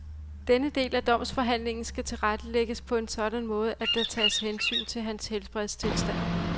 Denne del af domsforhandlingen kan tilrettelægges på en sådan måde, at der tages hensyn til hans helbredstilstand.